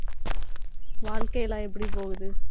வாழ்க்கை எல்லாம் எப்படி போகுது